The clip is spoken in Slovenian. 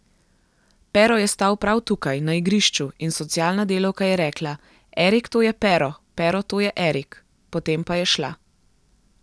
Pero je stal prav tukaj, na igrišču, in socialna delavka je rekla, Erik, to je Pero, Pero, to je Erik, potem pa je šla.